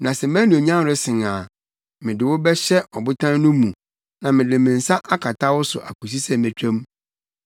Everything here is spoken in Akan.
Na sɛ mʼanuonyam resen a, mede wo bɛhyɛ ɔbotan no mu na mede me nsa akata wo so akosi sɛ metwa mu.